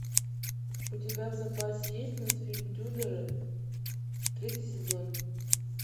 у тебя в запасе есть мультфильм тюдоры третий сезон